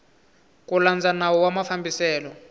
ku landza nawu wa mafambiselo